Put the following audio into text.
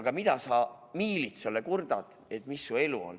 Aga mida sa miilitsale kurdad, milline su elu on.